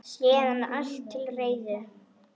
Síðan er allt til reiðu.